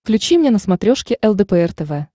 включи мне на смотрешке лдпр тв